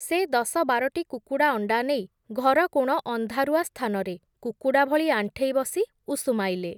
ସେ ଦଶ ବାରଟି କୁକୁଡ଼ାଅଣ୍ଡା ନେଇ ଘରକୋଣ ଅନ୍ଧାରୁଆ ସ୍ଥାନରେ କୁକୁଡ଼ା ଭଳି ଆଣ୍ଠେଇ ବସି ଉଷୁମାଇଲେ ।